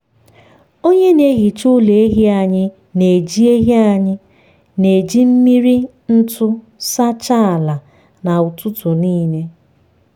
onye na-ehicha ụlọ ehi anyị na-eji ehi anyị na-eji mmiri ntu sachaa ala na ụtụtụ nile.